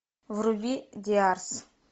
вруби диарс